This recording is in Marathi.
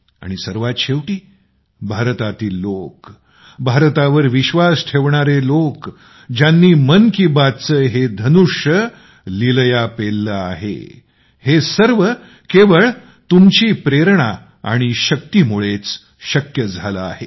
आणि सर्वात शेवटी भारतातील लोक भारतावर विश्वास ठेवणारे लोक ज्यांनी मन की बात चे हे धनुष्य लीलया पेलले आहे हे सर्व केवळ तुमची प्रेरणा आणि शक्तीमुळेच शक्य झाले आहे